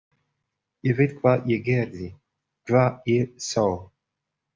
Ég veit hvað ég gerði, hvað ég sá.